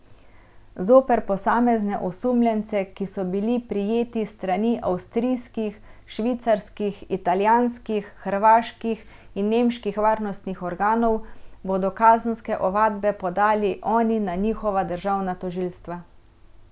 Zoper posamezne osumljence, ki so bili prijeti s strani avstrijskih, švicarskih, italijanskih, hrvaških in nemških varnostnih organov, bodo kazenske ovadbe podali oni na njihova državna tožilstva.